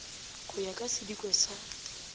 go ya ka sidiko sa